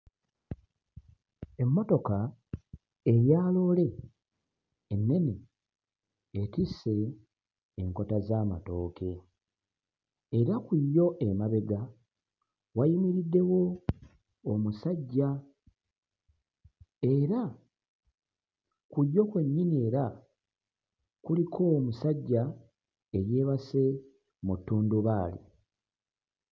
Emmotoka eya loole ennene etisse enkota z'amatooke era ku yo emabega wayimiriddewo omusajja era ku yo kwennyini era kuliko omusajja eyeebase mu ttundubaali.